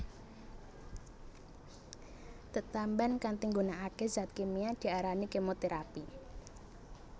Tetamban kanthi nggunakake zat kimia diarani kemoterapi